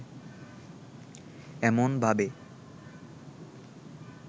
এমন ভাবে